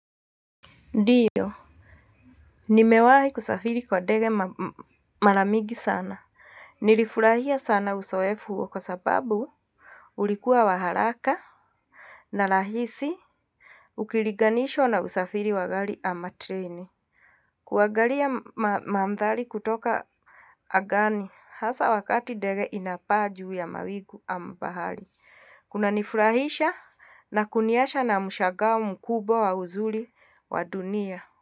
Ndiyo. Nimewahi kusafiri kwa ndege mara mingi sana. Nilifurahia sana uzoefu huo kwa sababu ulikuwa wa haraka na rahisi ukilinganishwa na usafiri wa gari ama treni. Kuangalia mandhari kutoka angani hasa wakati ndege inapaa juu ya mawingu ama bahari. Kunanifurahisha na kuniacha na mshangao mkubwa wa uzuri wa dunia.